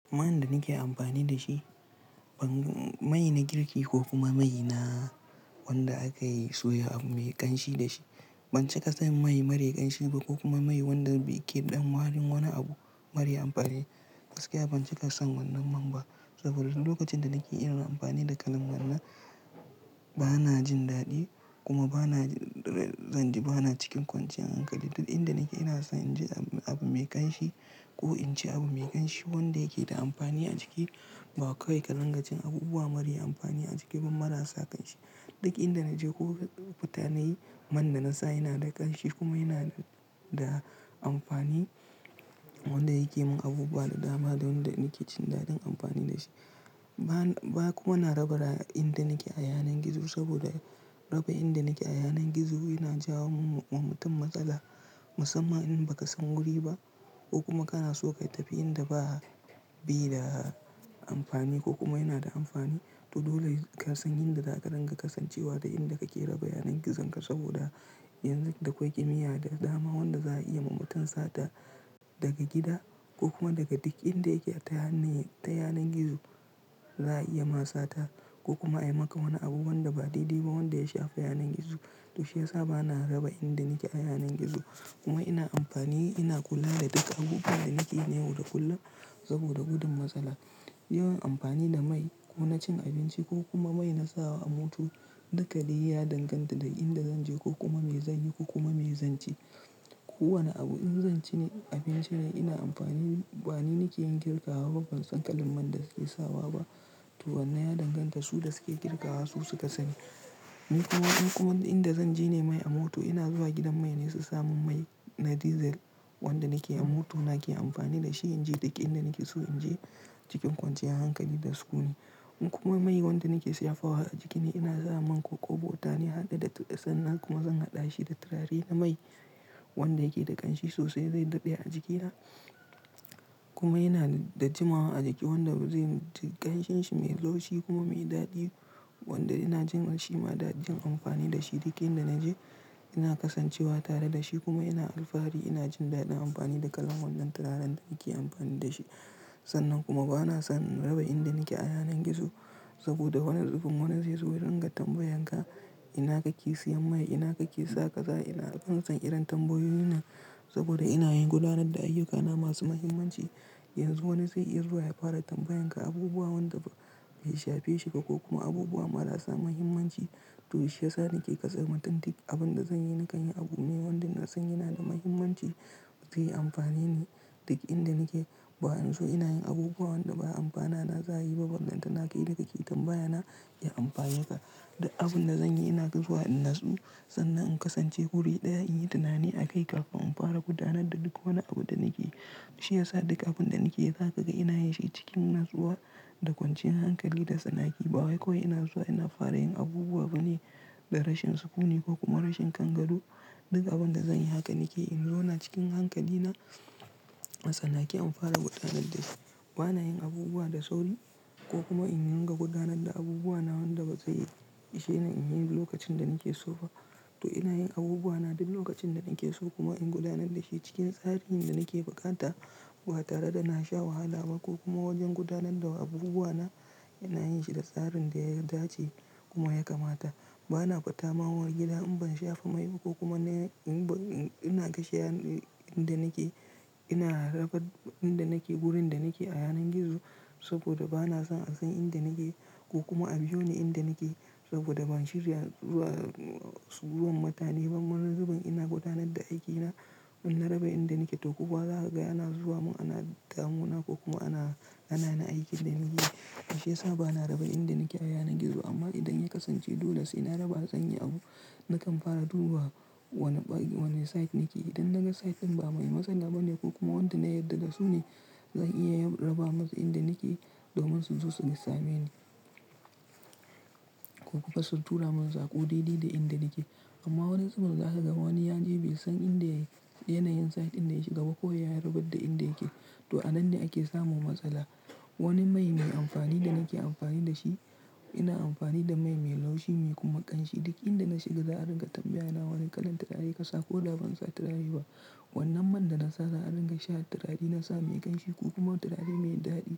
Man da nake amfani da shi, ban mai na girki ko kuma mai na wanda aka yi soya abu mai ƙanshi da shi. Ban cika san mai mara ƙanshi ba ko kuma mai wanda yake ɗan wari wani abu, mara amfani. Gaskiya ban cika san wannan man ba. Saboda lokacin da nake ina amfani da kalan wannan, ba na jin daɗi kuma ba na zanje ba na cikin kwanciyar hankali. Duk inda nake ina so in ji abu mai ƙanshi ko in ci abu mai ƙanshi wanda yake da amfani a jiki. Ba kawai karinga cin abubuwa mara amfani a jiki ba marasa ƙanshi. Duk inda naje ko mutane man da na sa yana da ƙanshi kuma yana da amfani. Wanda yake min abubuwa da dama don da nake jin daɗin amfani da shi. Ba, ba kuma na raba inda nake a yanar gizo saboda raba inda nake a yanar gizo yana jawo wa mutum matsala. Musamman in ba ka san wuri ba ko kuma kana so ka tafi inda ba bi da amfani ko kuma yana da amfani. To dole ka san inda zaka dinga kasancewa da inda kake raba yanar gizanka saboda yanzu da akwai kimiyya da dama wanda za a iya ma mutum sata daga gida ko kuma daga duk inda yake ta yanar gizo. Za a iya ma sata ko kuma a yi maka wani abu wanda ba daidai ba wanda ya shafa yanar gizo. To shiyasa bana raba inda nake a yanar gizo kuma ina amfani, ina kula da duk abu da nake yi na yau da kullum saboda gudun matsala. Yawan amfani da mai ko na cin abinci ko kuma mai na sawa a mota, dakali ya danganta da inda zan je ko kuma me zanyi ko kuma me zanci. Ko wane abu in zan ci ne, abinci ne ina amfani. Ba ni nake yin girka ba kuma ban san kalan man da suke sawa ba. To wannan ya danganta su da suke girka wa su suka sani. Ni kuma, in kuma inda zan je ne mai a mota ina zuwa gidan mai ne su sami mai na dizal wanda nake a mota nake amfani da shi in je duk inda nake so in je cikin kwanciyar hankali da sukuni. In kuma mai wanda nake shafawa a jiki ne, ina sawa man ko ƙoɓota ne, hade da sannan kuma zan haɗa shi da turare na mai wanda yake da ƙanshi sosai. Zai daɗe a jikina kuma yana da jimawa a jiki wanda zai ƙanshinshi mai laushi kuma mai daɗi wanda ina jin shi ma da jin amfani da shi. Duk inda naje ina kasancewa tare da shi kuma ina alfahari ina jin daɗin amfani da kalan wannan turaren da nake amfani da shi. Sannan kuma ba na son raba inda nake a yanar gizo saboda wani zubin wani zai zo don ga tambayan ka ina kake siyan mai, ina kake saka za, ina? Ban san irin tambayoyin nan saboda ina yin gudanar da ayyukana masu muhimmanci. Yanzu wani zai iso ya fara tambayan ka abubuwa wanda bai shafe shi ba ko kuma abubuwa marasa muhimmanci. To shiyasa nake kasancewa tuntuki. Abun da zanyi na kan yi abu me wanda nasan yana da muhimmanci zai amfane ni duk inda nake. Bayanzo in so ina yin abubuwa wanda baya amfana na zaa yi ba. Wannan tana kai da ke tambaya na ya amfaye ka da abun da zanyi ina zuwa in natsu sannan in kasance wuri ɗaya in yi tunani a kai kafin in fara gudanar da duk wani abu da nake yi. Shiyasa duk abun da nake yi zaka ga ina yinshi cikin natsuwa da kwanciyar hankali da sanaki. Ba wai kawai ina zuwa ina fara yin abubuwa bane da rashin sukuni ko kuma rashin kangado. Duk abun da zanyi haka nake in zau na cikin hankali na a tsanake in fara gudanar da shi. Ba na yin abubuwa da sauri ko kuma in ringa gudanar da abubuwa na wanda ba zai ishe ni in yi lokacin da nake so ba. To ina yin abubuwa na duk lokacin da nake so kuma in gudanar da shi cikin tsarinda nake bukata ba tare da na sha wahala ba ko kuma wajen gudanar da abubuwa na ina yin shi da tsarin da ya dace kuma ya kamata. Ba na fatamawa gida in ban shafa mai ba ko kuma ina, ina gashi inda nake. Ina raba inda nake wurin da nake a yanar gizo saboda ba na son a san inda nake ko kuma a biyo ni inda nake saboda ban shirya zuwa, zuwan mutane ba. Marar zubin ina gudanar da aikina in raba inda nake. To kuma za ka ga ana zuwa mun ana damu na ko kuma ana, ana na aikin da nake yi. Shiyasa bana raba inda nake a yanar gizo amma idan ya kasance dole sai na raba don in yi abu nakan fara duba wane, wane site nake. Idan naga site din ba mai matsala bane ko kuma wanda na yarda da su ne, zan iya raba musu inda nake domin su zo su sosameni ko kuma su tura mun sako daidai da inda nake. Amma wani zubun za ka ga wani ya je bai san inda, yanayin site inda yashi gaba ko ya rabar da inda yake. To a nan ne ake samun matsala. Wani mai mai amfani da nake amfani da shi, ina amfani da mai mai laushi mai kuma ƙanshi. Duk inda na shiga za a ringa tambaya na wane kalan turare ka sa ko da ban sa turare ba. Wannan man da na sawa a ringa sha turare na sawa mai ƙanshi ko kuma turare mai daɗi.